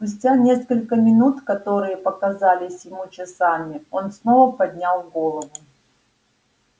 спустя несколько минут которые показались ему часами он снова поднял голову